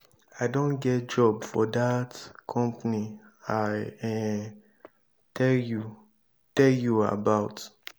i don get job for dat company i um tell you tell you about.